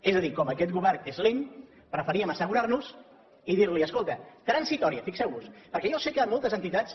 és a dir com aquest govern és lent preferíem assegurar nos i dir escolta transitòria fixeu vos perquè jo sé que moltes entitats